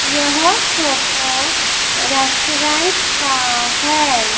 यह photo restaurant का है।